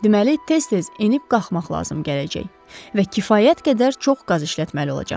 Deməli, tez-tez enib qalxmaq lazım gələcək və kifayət qədər çox qaz işlətməli olacaqsan.